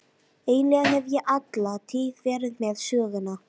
Eiginlega hef ég alla tíð verið með Söguna.